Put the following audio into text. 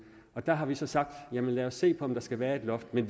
der har vi så sagt lad os se på om der skal være et loft men